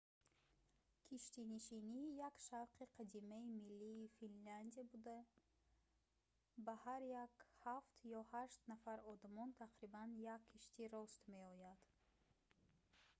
киштинишинӣ як шавқи қадимаи миллии финляндия буда бар ҳар як ҳафт ё ҳашт нафар одамон тақрибан як киштӣ рост меояд